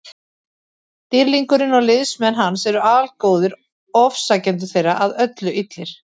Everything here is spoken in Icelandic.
Dýrlingurinn og liðsmenn hans eru algóðir, ofsækjendur þeirra að öllu illir.